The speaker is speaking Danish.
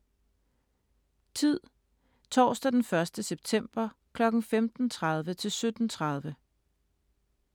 Tid: Torsdag den 1. september kl. 15.30-17.30